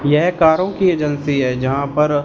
यह कारों की एजेंसी है जहां पर--